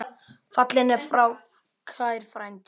Fallinn er frá kær frændi.